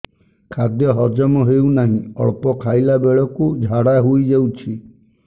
ଖାଦ୍ୟ ହଜମ ହେଉ ନାହିଁ ଅଳ୍ପ ଖାଇଲା ବେଳକୁ ଝାଡ଼ା ହୋଇଯାଉଛି